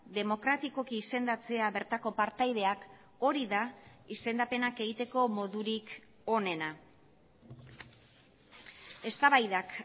demokratikoki izendatzea bertako partaideak hori da izendapenak egiteko modurik onena eztabaidak